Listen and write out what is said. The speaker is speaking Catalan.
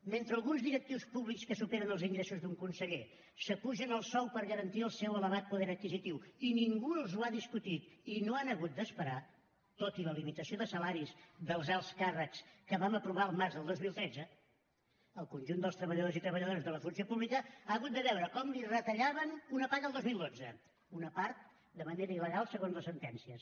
mentre alguns directius públics que superen els ingressos d’un conseller s’apugen el sou per garantir el seu elevat poder adquisitiu i ningú els ho ha discutit i no han hagut d’esperar tot i la limitació de salaris dels alts càrrecs que vam aprovar el març del dos mil tretze el conjunt dels treballadors i treballadores de la funció pública ha hagut de veure com li retallaven una paga el dos mil dotze una part de manera il·legal segons les sentències